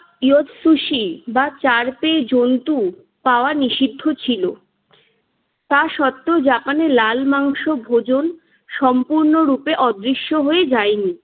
ইয়ক সুসি বা চারপেয়ে জন্তু পাওয়া নিষিদ্ধ ছিল। তা সত্ত্বেও জাপানে লাল মাংস ভোজন সম্পূর্ণরূপে অদৃশ্য হয়ে যায়নি।